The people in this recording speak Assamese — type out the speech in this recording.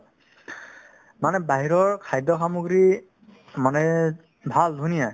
মানে বাহিৰৰ খাদ্য সামগ্ৰী মানে ভাল ধুনীয়া